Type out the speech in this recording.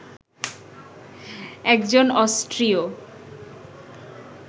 একজন অস্ট্রিয়